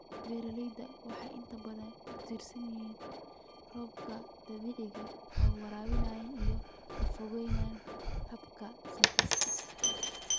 Beeraleydu waxay inta badan ku tiirsan yihiin roobka dabiiciga ah ee waraabka, iyaga oo ka fogaanaya hababka synthetic.